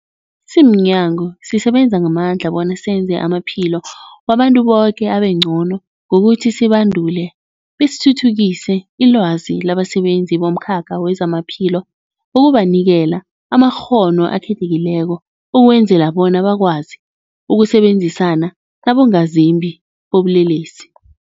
Simnyango, sisebenza ngamandla bona senze amaphilo wabantu boke abengcono ngokuthi sibandule besithuthukise ilwazi labasebenzi bomkhakha wezamaphilo ngokubanikela amakghono akhethekileko ukwenzela bona bakwazi ukusebenzisana nabongazimbi bobulelesi.